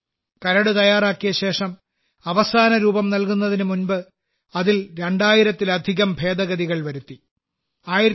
കരട് തയ്യാറാക്കിയ ശേഷം അവസാന രൂപം നൽകുന്നതിന് മുമ്പ് അതിൽ രണ്ടായിരത്തിലധികം ഭേദഗതികൾ വരുത്തി